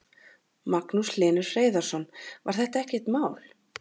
Magnús Hlynur Hreiðarsson: Var þetta ekkert mál?